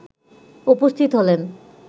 উপস্থিত হলেন